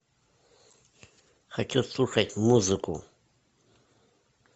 хочу слушать музыку